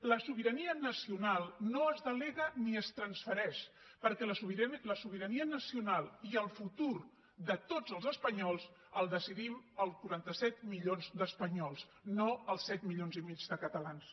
la sobirania nacional no es delega ni es transfereix perquè la sobirania nacional i el futur de tots els espanyols els decidim els quaranta set milions d’espanyols no els set milions i mig de catalans